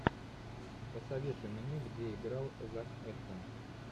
посоветуй мне где играл зак эфрон